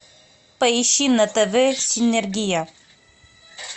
поищи на тв синергия